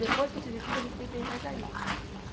Depois que eu tive filho, eu respeitei mais ainda.